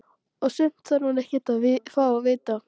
Og sumt þarf hún ekkert að fá að vita.